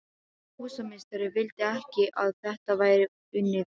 Húsameistari vildi ekki að þetta væri unnið nú.